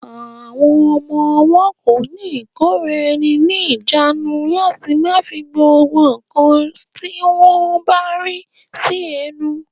Àwọn ọmọ-ọwọ́ kò ní ìkóraẹni ní ìjánu láti má fi gbogbo ǹkan tí wọ́n bá rí sí ẹnu